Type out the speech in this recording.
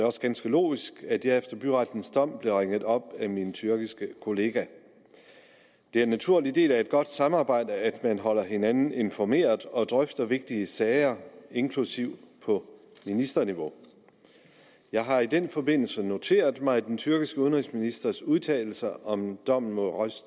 også ganske logisk at jeg efter byrettens dom blev ringet op af min tyrkiske kollega det er en naturlig del af et godt samarbejde at man holder hinanden informeret og drøfter vigtige sager inklusiv på ministerniveau jeg har i den forbindelse noteret mig den tyrkiske udenrigsministerens udtalelser om dommen mod roj